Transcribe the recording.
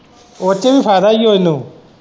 ਉਹਦੇ ਚ ਵੀ ਫਾਇਦਾ ਹੀ ਏ ਇਹਨੂੰ।